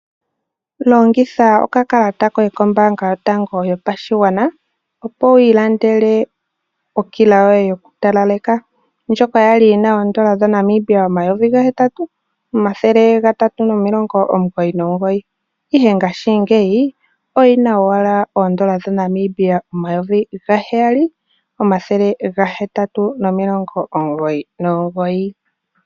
Longitha okakalata koye kombaanga yotango yopashigwana opo wi ilandele okila yoye yoku talaleka ndjoka yali yi na oondola dhaNamibia omayovi gahetatu, omathele gatatu nomilongo omugoyi nomugoyi ihe ngaashi ngeyi oyi na owala oondola dhaNamibia omayovi gaheyali omathele gahetatu nomilongo omugoyi nomugoyi